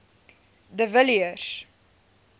de villiers